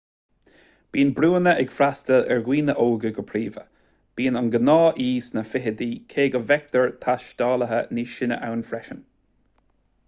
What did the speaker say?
bíonn brúnna ag freastal ar dhaoine óga go príomha bíonn an gnáth-aoi sna fichidí cé go bhfeictear taistealaithe níos sine ann freisin